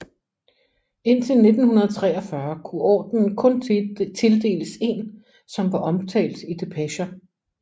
Indtil 1943 kunne ordenen kun tildeles en som var omtalt i depecher